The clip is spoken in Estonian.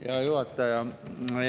Hea juhataja!